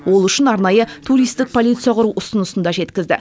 ол үшін арнайы туристік полиция құру ұсынысын да жеткізді